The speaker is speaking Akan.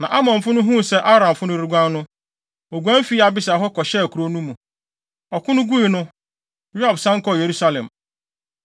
Na Amonfo no huu sɛ Aramfo no reguan no, woguan fii Abisai ho kɔhyɛɛ kurow no mu. Ɔko no gui no, Yoab san kɔɔ Yerusalem.